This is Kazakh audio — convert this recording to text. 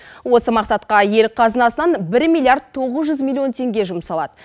осы мақсатқа ел қазынасынан бір миллиард тоғыз жүз миллион теңге жұмсалады